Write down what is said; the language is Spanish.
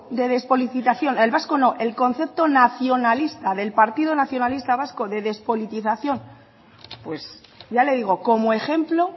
de despolitización el vasco no el concepto nacionalista del partido nacionalista vasco de despolitización pues ya le digo como ejemplo